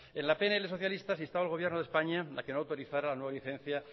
en la pnl socialista se instaba al gobierno de españa a que no autorizara la nueva licencia